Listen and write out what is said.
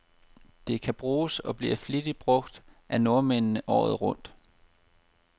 Det kan bruges, og bliver flittigt brug af nordmændene, året rundt.